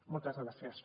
moltes gràcies